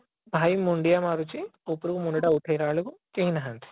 ଭାଇ ମୁଣ୍ଡିଆ ମାରୁଛି ଉପରକୁ ମୁଣ୍ଡ ଟାକୁ ଉଠେଇଲା ବେଳକୁ କେହି ନାହାନ୍ତି